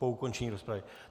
Po ukončení rozpravy.